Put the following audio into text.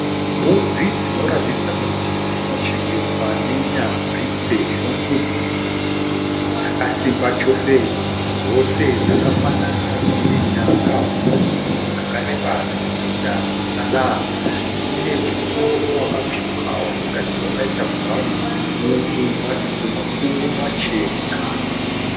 Mbudzi dzinoratidza kuti dzinochengetwa nenyanzvi sezvo mbudzi idzi dzakasimba chose . Dzose dzakafanana dzine nyanga huru dzakareba dzinoenda kumusana, dzine musoro wakatsvuka watingati wakaita brown nematumbu makuru machena.